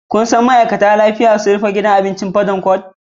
Ka san ma'aikatar kulla da lafiya sun rufe gidan abincin Bottom pot?